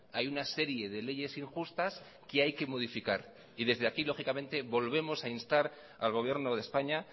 hay una serie de leyes injustas que hay que modificar y desde aquí lógicamente volvemos a instar al gobierno de españa